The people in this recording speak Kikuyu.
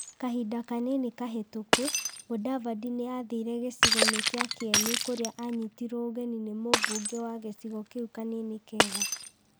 Kahinda kanini kahĩtũku, Mũdavadi nĩ athire gĩcigoinĩ kĩa Kieni kũrĩa anyitirwo ũgeni nĩ mũmbunge wa gĩcigo kĩu Kanini Kega.